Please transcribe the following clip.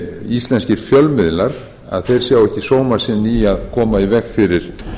íslenskir fjölmiðlar sjá ekki sóma sinn í að koma í veg fyrir